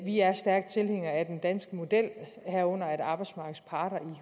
vi er stærke tilhængere af den danske model herunder at arbejdsmarkedets parter i